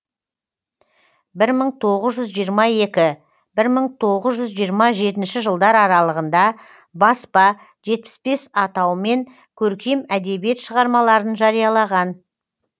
бір мың тоғыз жүз жиырма екі бір мың тоғыз жиырма жетінші жылдар аралығында баспа жетпіс бес атаумен көркем әдебиет шығармаларын жариялаған